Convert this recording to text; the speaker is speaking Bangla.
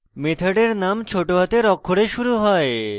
মেথডের name ছোট হাতের অক্ষরে শুরু হয়